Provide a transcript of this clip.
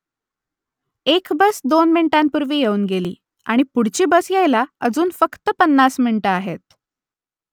एक बस दोन मिनिटांपूर्वी येऊन गेली आणि पुढची बस यायला अजून फक्त पन्नास मिनिटं आहेत